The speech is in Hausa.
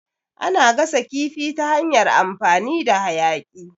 Ana gasa kifi ta hanyar amfani da hayaƙi.